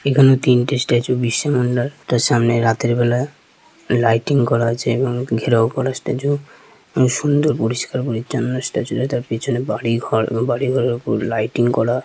এখানে তিনটে স্ট্যাচু বিশ্ব বাংলার তার সামনে রাতের বেলা লাইটিং করা আছে এবং ঘেরাও করা স্ট্যাচু এবং সুন্দর পরিষ্কার পরিছন্ন স্ট্যাচু টা তার পেছনে বাড়ি ঘর এবং বাড়ি ঘরের ওপর লাইটিং করা ।